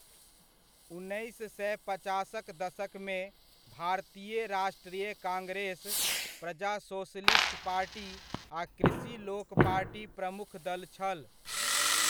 उन्नैस सए पचासक दशकमे, भारतीय राष्ट्रीय कांग्रेस, प्रजा सोशलिस्ट पार्टी आ कृषि लोक पार्टी प्रमुख दल छल।